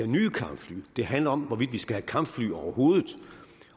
nye kampfly den handler om hvorvidt vi skal have kampfly overhovedet